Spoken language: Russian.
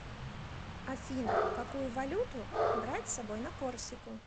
афина какую валюту брать с собой на корсику